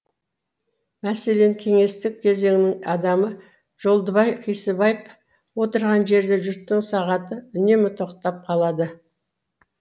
мәселен кеңестік кезеңнің адамы жолдыбай қисыбаев отырған жерде жұрттың сағаты үнемі тоқтап қалады